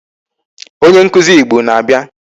Onye nkụzi Igbo na-abịa.